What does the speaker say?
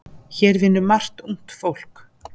Hér vinnur margt ungt fólk.